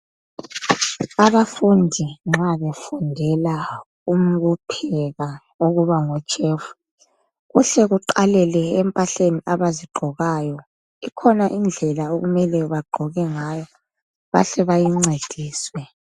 Abafundi nxa befundela ukupheka ukuba ngoshefu, kuhle kuqalele empahleni abazigqokayo. Ikhona indlela okumele bagqoke ngayo, bahle bayincediswe.